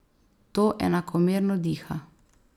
To enakomerno diha.